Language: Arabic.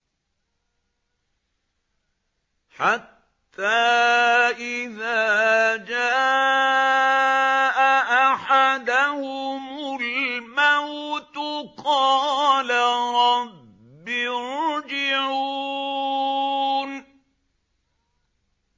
حَتَّىٰ إِذَا جَاءَ أَحَدَهُمُ الْمَوْتُ قَالَ رَبِّ ارْجِعُونِ